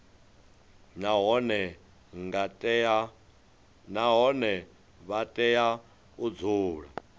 nahone vha tea u dzula